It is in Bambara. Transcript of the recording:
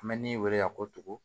An bɛ min wele ka ko tugu